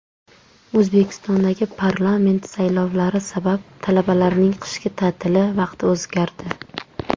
O‘zbekistondagi parlament saylovlari sabab talabalarning qishki ta’tili vaqti o‘zgardi.